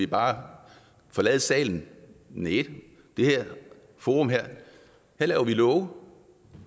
bare forlade salen næh i det forum her laver vi love